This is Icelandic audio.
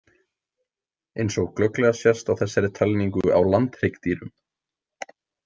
Eins og glögglega sést á þessari talningu á landhryggdýrum.